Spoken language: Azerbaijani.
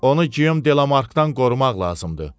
Onu Guillaume Delamarkdan qorumaq lazımdır.